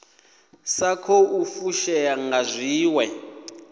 sa khou fushea nga zwiwe